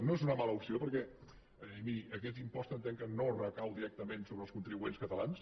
no és una mala opció perquè miri aquest impost entenc que no recau directament sobre els contribuents catalans